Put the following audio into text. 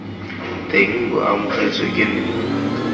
teng bo amogetswe ke nna